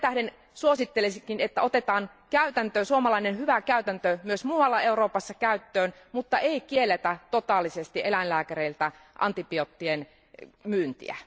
Sen tähden suosittelisinkin, että otetaan suomalainen hyvä käytäntö myös muualla Euroopassa käyttöön, mutta ei kielletä totaalisesti eläinlääkäreiltä antibioottien myyntiä.